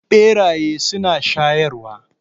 Beraye suna shayarwa.